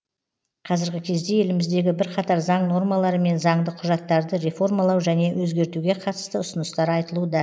қазіргі кезде еліміздегі бірқатар заң нормалары мен заңды құжаттарды реформалау және өзгертуге қатысты ұсыныстар айтылуда